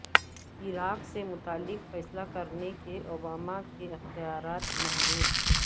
عراق سے متعلق فیصلہ کرنے کے اوباما کے اختیارات محدود